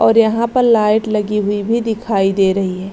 और यहाँ पर लाइट लगी हुई भी दिखाई दे रही है।